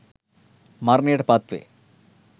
මරණයට පත් වේ